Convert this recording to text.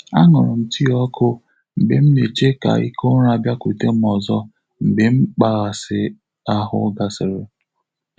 A ṅụrụ m tii ọkụ mgbe m na-eche ka ike ụra bịakwute m ọzọ mgbe mkpaghasị ahụ gasịrị.